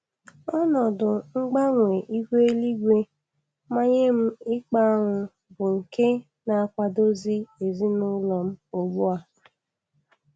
Ọnọdụ mgbanwe ihu eluigwe manyee m ịkpa añụ bụ nke na-akwadozi ezina ụlọ m ugbu a.